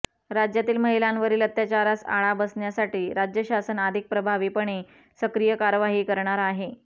राज्यातील महिलांवरील अत्याचारास आळा बसण्यासाठी राज्यशासन अधिक प्रभावीपणे सक्रिय कार्यवाही करणार आहे